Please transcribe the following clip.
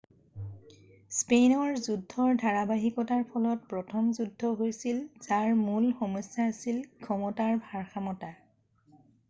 স্পেইনৰ যুদ্ধৰ ধাৰাবাহিকতাৰ ফলত প্ৰথম যুদ্ধ হৈছিল যাৰ মূল সমস্যা আছিল ক্ষমতাৰ ভাৰসমতা